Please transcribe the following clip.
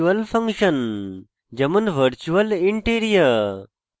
virtual function যেমন virtual int area